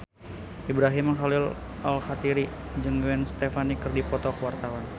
Ibrahim Khalil Alkatiri jeung Gwen Stefani keur dipoto ku wartawan